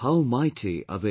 How mighty are they